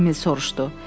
Emil soruşdu.